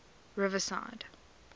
riverside